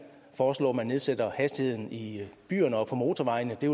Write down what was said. foreslå at man nedsætter hastigheden i byerne og på motorvejene det